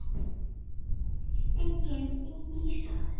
Einnig í Ísrael.